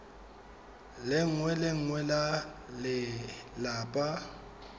lengwe le lengwe la lelapa